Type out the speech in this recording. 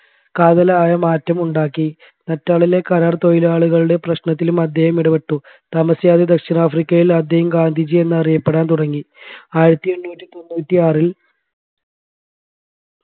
കാതലായ മാറ്റമുണ്ടാക്കി നാറ്റാളിലെ കരാർ തൊഴിലാളികളുടെ പ്രശ്നത്തിലും അദ്ദേഹം ഇടപെട്ടു താമസിയാതെ ദാക്ഷിണാഫ്രിക്കയിലും അദ്ദേഹം ഗാന്ധിജി എന്ന് അറിയപ്പെടാൻ തുടങ്ങി ആയിരത്തി എണ്ണൂറ്റി തൊണ്ണൂറ്റി ആറിൽ